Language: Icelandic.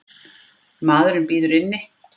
Maðurinn bíður inni.